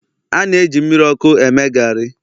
a na-eji mmiri ọkụ eme gari